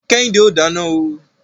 Kẹ́hìndé ò dáná o.